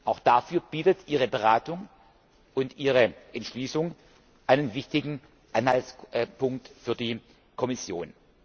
Auch dafür bieten Ihre Beratung und Ihre Entschließung einen wichtigen Anhaltspunkt für die Kommission.